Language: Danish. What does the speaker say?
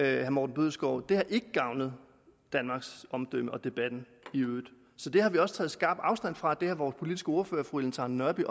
herre morten bødskov det har ikke gavnet danmarks omdømme og debatten i øvrigt så det har vi også taget skarp afstand fra vores politiske ordfører fru ellen trane nørby